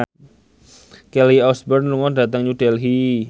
Kelly Osbourne lunga dhateng New Delhi